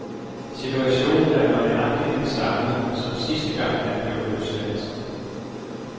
Situationen er nøjagtig den samme, som sidste gang han blev løsladt.